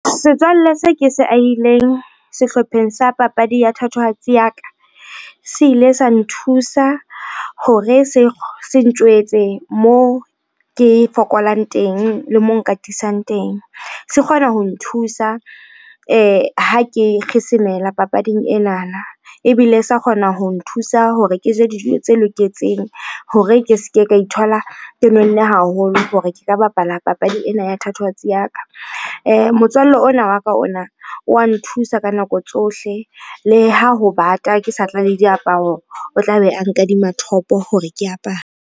Setswalle seo ke se ahileng sehlopheng sa papadi ya thatohatsi ya ka, se ile sa nthusa hore se ntjwetse mo ke fokolang teng le mo nka tisang teng. Se kgona ho nthusa ha ke papading enana. Ebile sa kgona ho nthusa hore ke je dijo tse loketseng hore ke se ke ka ithola ke nonne haholo hore ke ka bapala papadi ena ya thatohatsi ya ka. Motswalle ona wa ka ona wa nthusa ka nako tsohle. Le ha ho bata ke sa tla le diaparo, o tla be a nkadima top-o hore ke apare.